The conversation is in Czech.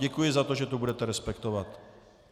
Děkuji za to, že to budete respektovat.